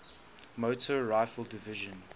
motor rifle division